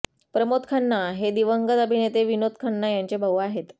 प्रमोद खन्ना हे दिवंगत अभिनेते विनोद खन्ना यांचे भाऊ आहेत